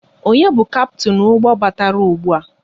Onye bu Kaptin ụgbọ batara ụgbụa?